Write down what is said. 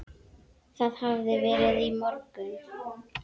Það hafði verið í morgun.